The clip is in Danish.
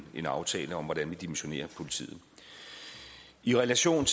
en aftale om hvordan vi dimensionerer politiet i relation